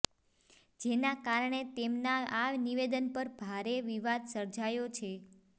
જેના કારણે તેમના આ નિવેદન પર ભારે વિવાદ સર્જયો છે